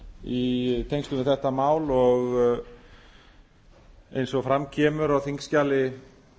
í tengslum við þetta mál eins og fram kemur á þingskjali